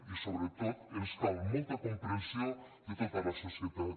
i sobretot ens cal molta comprensió de tota la societat